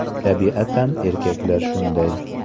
Tabiatan erkaklar shunday!